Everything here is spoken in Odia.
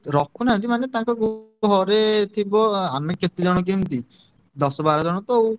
ରଖୁ~ ନାହାନ୍ତି~ ମାନେ ତାଙ୍କ ଘରେ ଥିବ ଆମେ କେତେଜଣ କି ଏମିତି। ଦଶ ବାର ଜଣ ତ ଆଉ।